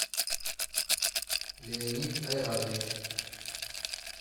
леонид айратович